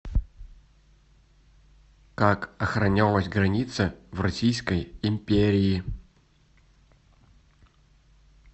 как охранялась граница в российской империи